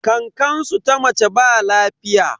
Kankansu ta mace ba lafiya.